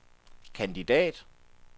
kandidat